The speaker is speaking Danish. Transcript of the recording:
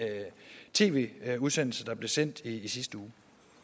tv udsendelse der blev sendt i sidste uge